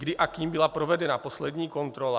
Kdy a kým byla provedena poslední kontrola?